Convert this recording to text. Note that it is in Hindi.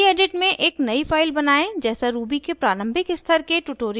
gedit में एक नयी फाइल बनायें जैसा ruby के प्रारंभिक स्तर के ट्यूटोरियल्स में दिखाया गया है